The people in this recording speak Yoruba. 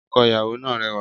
Ọkọ ìyàwó náà rẹwà